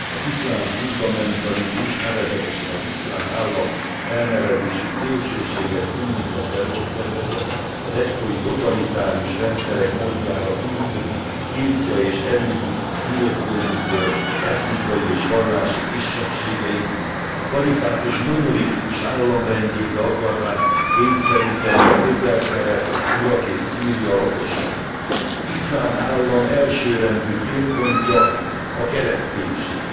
Az iszlám fundamentalizmus, nevezetesen az Iszlám Állam elnevezésű szélsőséges szunnita terrorszervezet az egykori totalitárius rendszerek módjára üldözi, irtja és elűzi szülőföldjükről etnikai és vallási kisebbségeit, a kalifátus monolitikus államrendjébe akarván kényszeríteni a Közel Kelet, Irak és Szíria lakosait. Az Iszlám Állam elsőrendű célpontja a kereszténység.